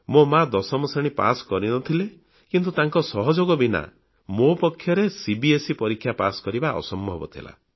ମୋ ମା ଦଶମ ଶ୍ରେଣୀ ପାସ୍ କରିନଥିଲେ କିନ୍ତୁ ତାଙ୍କ ସହଯୋଗ ବିନା ମୋ ପକ୍ଷରେ ସିବିଏସଇ ପରୀକ୍ଷା ପାସ୍ କରିବା ଅସମ୍ଭବ ଥିଲା